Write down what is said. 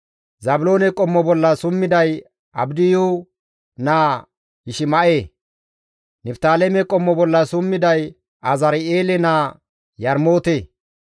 Zaabiloone qommo bolla summiday Abdiyu naa Yishima7e. Niftaaleme qommo bolla summiday Azari7eele naa Yarmoote.